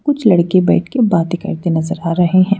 कुछ लड़के बैठ के बातें करते नजर आ रहे हैं।